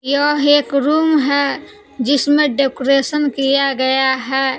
यह एक रूम है जिसमें डेकोरेशन किया गया है।